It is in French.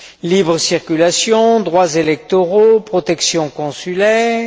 libre circulation, droits électoraux, protection consulaire, etc.